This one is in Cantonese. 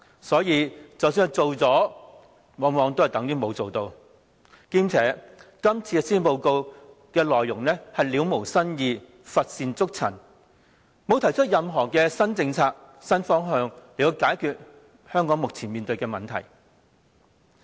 所以，即使做了，往往等於沒有做。況且，這份施政報告的內容了無新意，乏善足陳，沒有提出任何新政策、新方向來解決香港目前面對的問題。